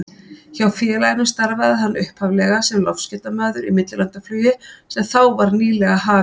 Hjá félaginu starfaði hann upphaflega sem loftskeytamaður í millilandaflugi sem þá var nýlega hafið.